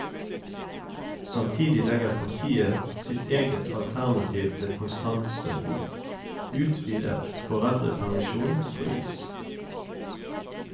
Samtidig legger partiet sitt eget alternativ til kontantstøtten, utvidet foreldrepermisjon, på is.